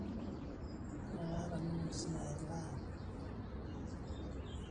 noto kulo omon tontokitin naitangaza, olkilikuain dorop, olturur l whatsapp, onkulie wuejitin naiaminika